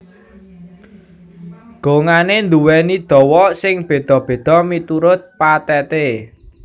Gongané nduwèni dawa sing béda béda miturut patheté